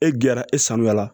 E gɛrɛ e sanuyara